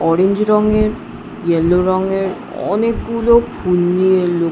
orange রঙের yellow রঙের অনেকগুলো ফুল নিয়ে লো--